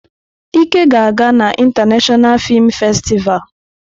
Ike ga-aga na International Film Festival.